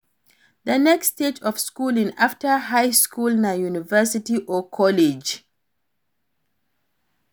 The next stage of schooling after high school na university or college